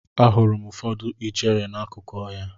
Ahụrụ m ụfọdụ ijere n'akụkụ ọhịa.